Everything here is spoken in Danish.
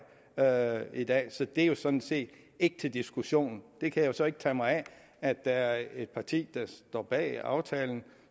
her i dag så det er sådan set ikke til diskussion jeg kan jo så ikke tage mig af at der er et parti der står bag aftalen